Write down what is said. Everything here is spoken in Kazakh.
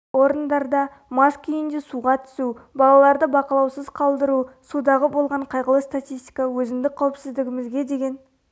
орындарда мас күйінде суға түсу балаларды бақылаусыз қалтыру судағы болған қайғылы статистика өзіндік қауіпсіздігімізге деген